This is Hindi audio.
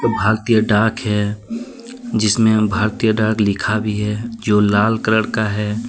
भारतीय डाक है। जिसमें हम भारतीय डाक लिखा भी है। जो लाल कलर का है।